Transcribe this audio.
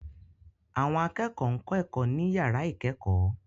Àwọn akẹ́kọ̀ọ́ ń kọ́ ẹ̀kọ́ ní yàrá ìkẹ́kọ̀ọ́